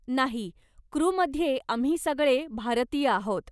नाही, क्रूमध्ये आम्ही सगळे भारतीय आहोत.